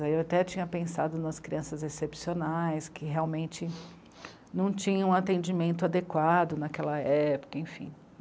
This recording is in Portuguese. Eu até tinha pensado nas crianças excepcionais, que, realmente, não tinham um atendimento adequado naquela época, enfim.